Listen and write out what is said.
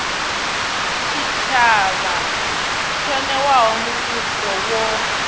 tshitshavha o newaho mushumo wo